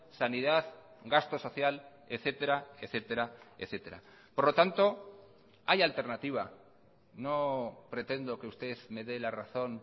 sanidad gasto social etcétera etcétera etcétera por lo tanto hay alternativa no pretendo que usted me de la razón